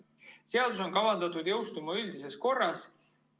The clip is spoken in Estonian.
Seadus on kavandatud jõustuma üldises korras.